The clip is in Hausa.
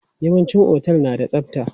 Yawanci otel na da tsabta.